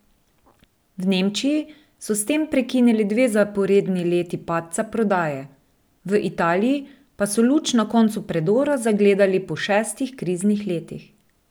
V Nemčiji so s tem prekinili dve zaporedni leti padca prodaje, v Italiji pa so luč na koncu predora zagledali po šestih kriznih letih.